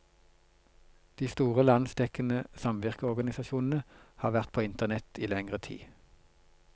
De store landsdekkende samvirkeorganisasjonene har vært på internett i lengre tid.